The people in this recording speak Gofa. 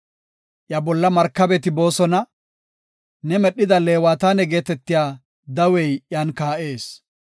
Iya bolla markabeti boosona; ne medhida Leewataane geetetiya dawey iyan kaa7ees.